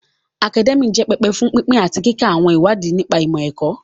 Akadẹ́míà jẹ́ pẹpẹ fún pínpín àti kíka àwọn ìwádìí nípa ìmọ̀-ẹ̀kọ́